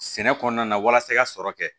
Sɛnɛ kɔnɔna na walasa i ka sɔrɔ kɛ